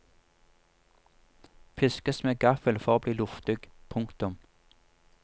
Piskes med gaffel for å bli luftig. punktum